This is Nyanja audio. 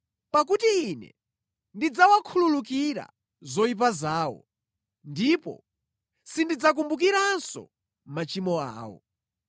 Pakuti Ine ndidzawakhululukira zoyipa zawo, ndipo sindidzakumbukiranso machimo awo.”